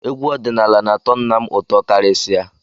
Egwú ọdịnala na-atọ nna m ụtọ karịsịa.